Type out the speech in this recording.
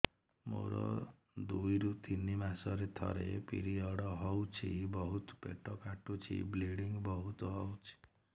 ମୋର ଦୁଇରୁ ତିନି ମାସରେ ଥରେ ପିରିଅଡ଼ ହଉଛି ବହୁତ ପେଟ କାଟୁଛି ବ୍ଲିଡ଼ିଙ୍ଗ ବହୁତ ହଉଛି